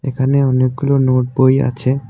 এখানে অনেকগুলো নোটবই আছে .